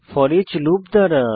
foreach loop দ্বারা